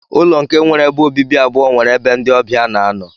Ụlọ nke nwere ebe obibi abụọ nwere ebe ndi ọbia na anọ.